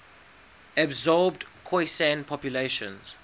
absorbed khoisan populations